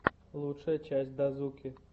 лучшая часть дазуки